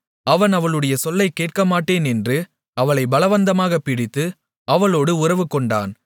அவன் அவளுடைய சொல்லைக் கேட்கமாட்டேன் என்று அவளைப் பலவந்தமாகப் பிடித்து அவளோடு உறவுகொண்டான்